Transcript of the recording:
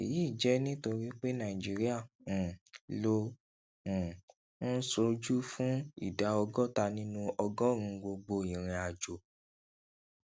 èyí jẹ nítorí pé nàìjíríà um ló um ń ṣojú fún ìdá ọgọta nínú ọgórùnún gbogbo ìrìn àjò